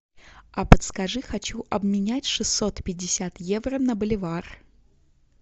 а подскажи хочу обменять шестьсот пятьдесят евро на боливар